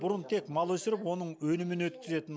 бұрын тек мал өсіріп оның өнімін өткізетін